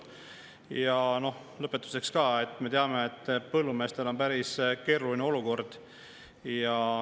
Ja lõpetuseks: me teame, et põllumeestel on päris keeruline olukord.